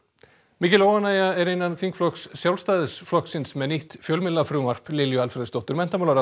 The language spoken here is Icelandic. mikil óánægja er innan þingflokks Sjálfstæðisflokksins með nýtt fjölmiðlafrumvarp Lilju Alfreðsdóttur